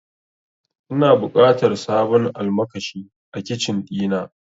Ina buƙatar sabon almakashi a Kicin ɗina.